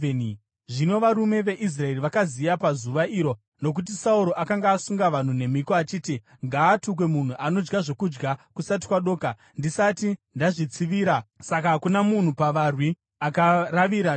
Zvino varume veIsraeri vakaziya pazuva iro, nokuti Sauro akanga asunga vanhu nemhiko achiti, “Ngaatukwe munhu anodya zvokudya kusati kwadoka, ndisati ndazvitsivira vavengi vangu!” Saka hakuna munhu pavarwi akaravira chokudya.